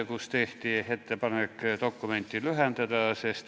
Meile tehti ettepanek dokumenti lühendada.